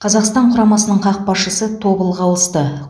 қазақстан құрамасының қақпашысы тобылға ауысты